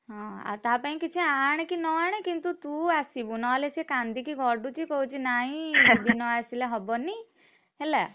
ହଁ ଆଉ ତା ପାଇଁ କିଛି ଆଣେ କି ନ ଆଣେ କିନ୍ତୁ ତୁ ଆସିବୁ ନହେଲେ ସେ କାନ୍ଦିକି ଗଡ଼ୁଛି କହୁଛି ନାଇଁ ଦିଦି ନ ଆସିଲେ ହବନି, ହେଲା।